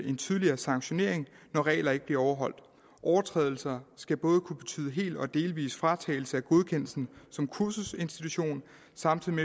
en tydeligere sanktionering når regler ikke bliver overholdt overtrædelser skal kunne betyde helt eller delvis fratagelse af godkendelsen som kursusinstitution samtidig